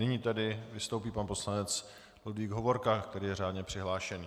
Nyní tedy vystoupí pan poslanec Ludvík Hovorka, který je řádně přihlášený.